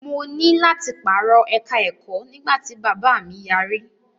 Mo ní láti pàrọ̀ ẹ̀ka-ẹ̀kọ́ nígbà tí bàbáà mi yarí.